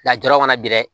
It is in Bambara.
Lajara mana bi dɛ